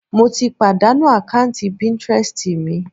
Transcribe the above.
Mo ti pàdánù àkáùntì píntírẹstì mi.